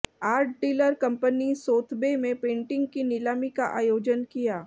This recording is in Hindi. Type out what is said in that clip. आर्ट डीलर कंपनी सोथबे में पेंटिंग की नीलामी का आयोजन किया